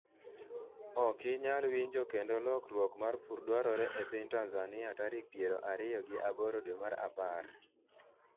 okinyal winjo kendo lokruok mar pur dwarore e piny Tanzania tarik piero ariyo gi aboro dwe mar apar